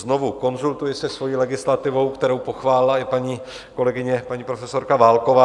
Znovu konzultuji se svojí legislativou, kterou pochválila i paní kolegyně, paní profesorka Válková.